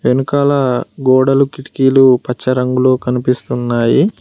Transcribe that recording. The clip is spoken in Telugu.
వెనకాల గోడలు కిటికీలు పచ్చ రంగులో కనిపిస్తున్నాయి.